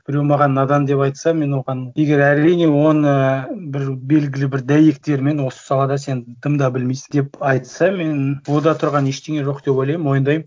біреу маған надан деп айтса мен оған егер әрине оны бір белгілі бір дәйектермен осы салада сен дым да білмейсің деп айтса мен онда тұрған ештеңе жоқ деп ойлаймын мойындаймын